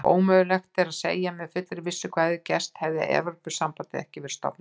Ómögulegt er að segja með fullri vissu hvað hefði gerst hefði Evrópusambandið ekki verið stofnað.